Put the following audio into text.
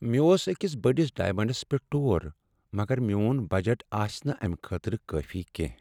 مےٚ اوس أکس بٔڑس ڈایمنٛڈس پیٹھ ٹور، مگر میٚون بجٹ آسہ نہٕ امہ خٲطرٕ کٲفی کینٛہہ۔